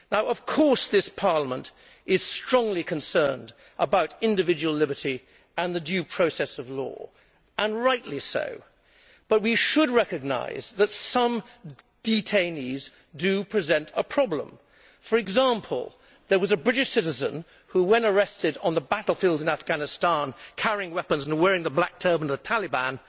Of course, this Parliament is strongly concerned about individual liberty and the due process of law, and rightly so, but we should recognise that some detainees do present a problem. For example, there was a British citizen who, when arrested on the battlefield in Afghanistan carrying weapons and wearing the black turban of the Taliban,